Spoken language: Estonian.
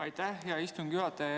Aitäh, hea istungi juhataja!